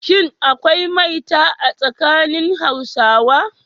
Shin akwai maita a tsakanin Hausawa?